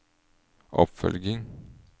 oppfølging